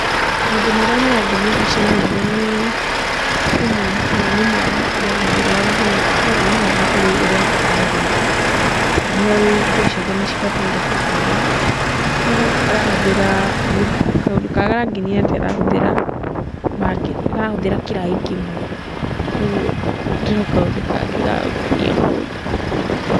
Maũndũ marĩa marangenia mbica-inĩ ĩno nĩ mũndũ kana nĩ mwana ũrehũrĩra nguo kuũguo nĩ mwana ũũĩ ũria abataire nĩ gwika kana nĩ oĩ nguo ciake nĩ cibataire kũhũhũrwo. No arahũthĩra, kaũndũ karĩa karangenia nĩ karahũthĩra mbaketi, karahũthĩra kĩraĩ kĩmwe. Kuũguo no kaũndũ kangĩ ga gũkenia mũndũ.